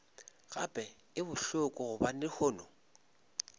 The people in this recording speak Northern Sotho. gape e bohloko gobane lehono